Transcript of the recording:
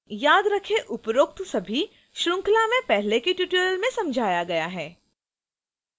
याद रखें उपरोक्त सभी इस श्रृंखला में पहले के tutorial में समझाया गया है